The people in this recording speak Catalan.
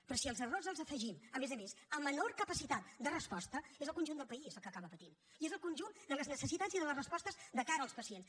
però si els errors els afegim a més a més a menor capacitat de resposta és el conjunt del país el que acaba patint i és el conjunt de les necessitats i de les respostes de cara als pacients